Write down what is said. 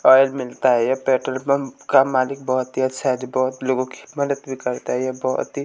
oil मिलता है यह पेट्रोल पंप का मालिक बहोत ही अच्छा है जो बहोत लोगों की मदद भी करता है यह बहुत ही--